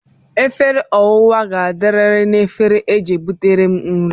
Efere owa ga-adiriri na egefere e ji butere m nri